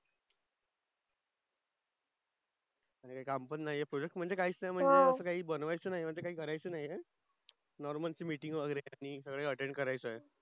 आनी काम पण नाही आहे Project म्हणजे काहीच नाही अस काय बनवायचं नाही काही करायचं नाही च normalmeetings वगेरे करणे सगळे attend करायचं आहे